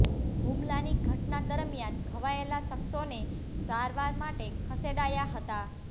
હુમલાની ઘટના દરમિયાન ઘવાયેલા શખ્સોને સારવાર માટે ખસેડાયા હતા